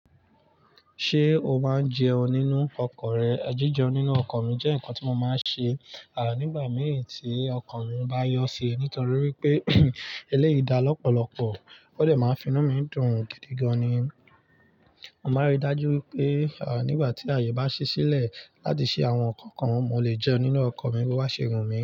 Ṣé o máa ń jẹun nínú ọkọ̀ rẹ? Jíjẹun nínú ọkọ̀ mi jẹ́ nǹkan tí mo máa ń ṣe, à nígbà mìíràn tí ọkan mi bá yọ sí i, nítorí wípé eléyìí dá lọ́pọ̀lọ́pọ̀, ó dè máa finú mi dùn gidi gan-an ni. Mo máa rí i dájú wípé, à nígbà tí àyè bá ṣi sílẹ̀ láti ṣí àwọn nǹkan kan mo lè jẹun nínú ọkọ̀ mi bó bá ṣe wù mí.